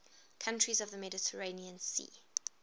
countries of the mediterranean sea